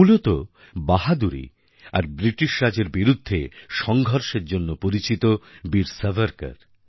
মূলত বাহাদুরি আর ব্রিটিশ রাজের বিরুদ্ধে তাঁর সঙ্ঘর্ষের জন্য পরিচিত বীর সাভারকর